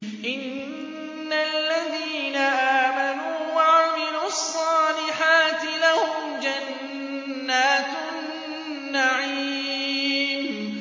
إِنَّ الَّذِينَ آمَنُوا وَعَمِلُوا الصَّالِحَاتِ لَهُمْ جَنَّاتُ النَّعِيمِ